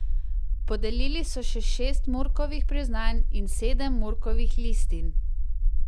Podelili so še šest Murkovih priznanj in sedem Murkovih listin.